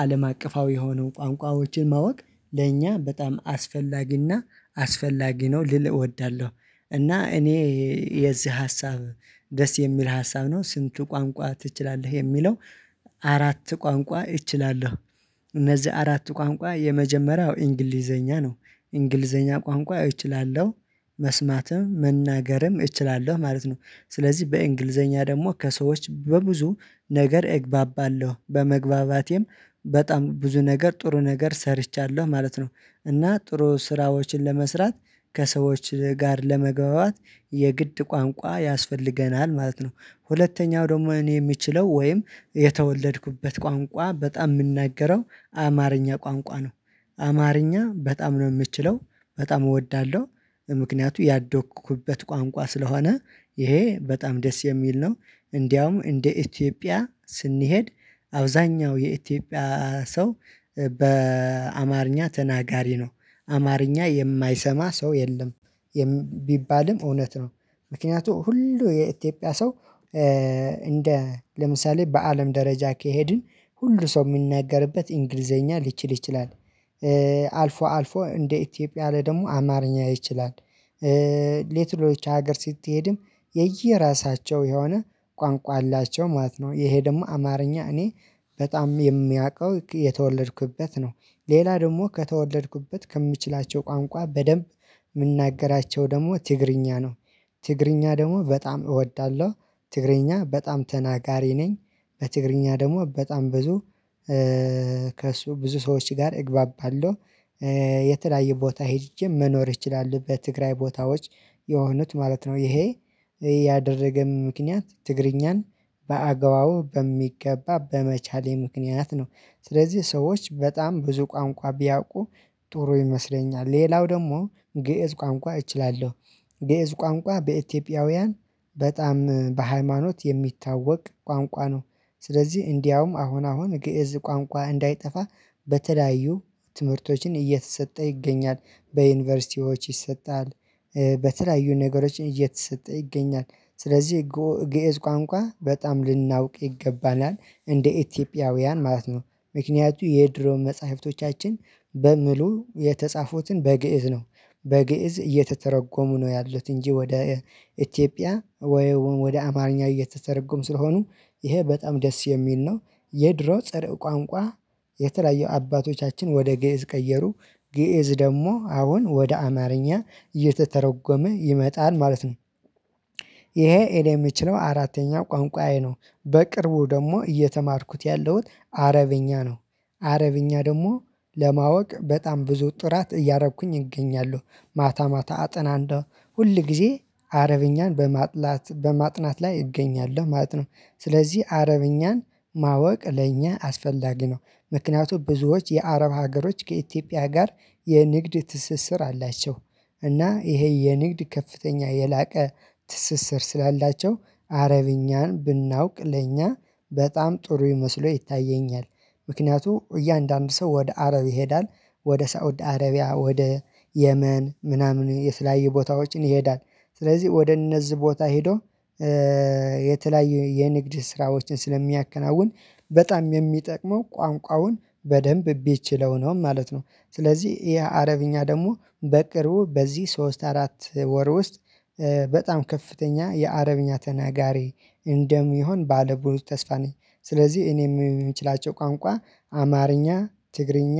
አለም አቀፋዊ የሆኑ ቋንቋዎችን ማወቅ ለእኛ በጣም አስፈላጊና አስፈላጊ ነው ልል እወዳለሁ። እና እኔ የዚህ ሀሳብ ደስ የሚል ሀሳብ ነው። ስንቱ ቋንቋ ትችላለህ የሚለው? አራት ቋንቋ እችላለሁ። እነዚህ አራት ቋንቋ የመጀመሪያው እንግሊዘኛ ነው። እንግሊዘኛ ቋንቋ እችላለሁ መስማትም መናገርም እችላለሁ ማለት ነው። ስለዚህ በእንግሊዘኛ ደግሞ ከሰዎች በብዙ ነገር እግባባለሁ በመግባባቴም በጣም ብዙ ነገር ጥሩ ነገር ሰርቻለሁ ማለት ነው። እና ጥሩ ስራዎችን ለመስራት ከሰዎች ጋር ለመግባባት የግድ ቋንቋ ያስፈልገናል ማለት ነው። ሁለተኛው ደግሞ እኔ የምችለው ወይም የተወለድኩበት ቋንቋ በጣም የምናገረው አማርኛ ቋንቋ ነው። አማርኛ በጣም ነው የምትችለው በጣም እወዳለሁ። ምክንያቱ ያደኩበት ቋንቋ ስለሆነ ይሄ በጣም ደስ የሚል ነው። እንደውም እንደ ኢትዮጵያ ስንሄድ አብዛኛው የኢትዮጵያ ሰው በአማርኛ ተናጋሪ ነው። አማርኛ የማይሰማ ሰው የለም። ቢባልም እውነት ነው። ምክንያቱም ሁሉ የኢትዮጵያ ሰው እንደ ለምሳሌ በአለም ደረጃ ከሄድን ሁሉ ሰው የሚናገርበት እንግሊዘኛ ሊችል ይችላል። አልፎ አልፎ እንደ ኢትዮጵያ ላይ ደግሞ አማርኛ ይችላል። ሌተኖች ሀገር ስትሄድም የየራሳቸው የሆነ ቋንቋ አላቸው ማለት ነው። ይሄ ደግሞ አማርኛ እኔ በጣም የሚያውቀው የተወለድኩበት ነው። ሌላ ደግሞ ከተወለድኩበት ከምችላቸው ቋንቋ በደንብ የምንናገራቸው ደግሞ ትግርኛ ነው። ትግርኛ ደግሞ በጣም እወዳለሁ። ትግርኛ በጣም ተናጋሪ ነኝ። በትግርኛ ደግሞ በጣም ብዙ ከእሱ ብዙ ሰዎች ጋር እግባባለሁ። የተለያዩ ቦታ ሄጄ መኖር እችላለሁ በትግራይ ቦታዎች የሆኑት ማለት ነው። ይሄ ያደረገን ምክንያት ትግርኛን በአግባቡ በሚገባ በመቻሌ ምክንያት ነው። ስለዚህ ሰዎች በጣም ብዙ ቋንቋ ቢያውቁ ጥሩ ይመስለኛል። ሌላው ደግሞ ግእዝ ቋንቋ እችላለሁ። ግእዝ ቋንቋ በኢትዮጵያውያን በጣም በሃይማኖት የሚታወቅ ቋንቋ ነው። ስለዚህ እንዲያውም አሁን አሁን ግእዝ ቋንቋ እንዳይጠፋ በተለያዩ ትምህርቶችን እየተሰጠ ይገኛል በዩኒቨርሲቲዎች ይሰጣል። በተለያዩ ነገሮች እየተሰጠ ይገኛል ስለዚህ ግእዝ ቋንቋ በጣም ልናውቅ ይገባናል እንደ ኢትዮጵያውያን ማለት ነው። ምክንያቱም የድሮ መጽሐፍቶቻችን በሙሉ የተጻፉትን በግእዝ ነው። በግእዝ እየተተረጎሙ ነው ያሉት እንጂ ወደ ኢትዮጵያ ወይ ወደ አማርኛ እየተተረጎሙ ስለሆኑ ይሄ በጣም ደስ የሚል ነው። የድሮ ጽርአ ቋንቋ የተለያየ አባቶቻችን ወደ ግእዝ ቀየሩ ግእዝ ደግሞ አሁን ወደ አማርኛ እየተተረጎመ ይመጣል ማለት ነው። ይሄ የምችለው አራተኛ ቋንቋዬ ነው። በቅርቡ ደግሞ እየተማርኩት ያለውን አረብኛ ነው። አረብኛ ደግሞ ለማወቅ በጣም ብዙ ጥረት እያረኩኝ እገኛለሁ። ማታ ማታ አጥናለው ሁል ጊዜ አረብኛን በማጥላት በማጥናት ላይ እገኛለሁ ማለት ነው። ስለዚህ አረብኛን ማወቅ ለእኛ አስፈላጊ ነው። ምክንያቱም ብዙዎች የአረብ ሀገሮች ከኢትዮጵያ ጋር የንግድ ትስስር አላቸው። እና ይሄ የንግድ ከፍተኛ የላቀ ትስስር ስላላቸው አረብኛን ብናውቅ ለእኛ በጣም ጥሩ ይመስሎ ይታየኛል። ምክንያቱም እያንዳንዱ ሰው ወደ አረብ ይሄዳል ወደ ሳውድ አረቢያ ወደ የመን ምናምን የተለያዩ ቦታዎችን ይሄዳል። ስለዚህ ወደ እነዚህ ቦታ ሄዶ የተለያየ የንግድ ስራዎችን ስለሚያከናውን በጣም የሚጠቅመው ቋንቋውን በደንብ ቢችለው ነው ማለት ነው። ስለዚህ የአረብኛ ደግሞ በቅርቡ በዚህ ሶስት አራት ወር ውስጥ በጣም ከፍተኛ የአረብኛ ተናጋሪ እንደሚሆን ባለ ብዙ ተስፋ ነኝ። ስለዚህ እኔ የምችላቸው ቋንቋ አማርኛ ትግርኛ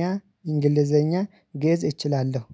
እንግሊዘኛ ግእዝ እችላለሁ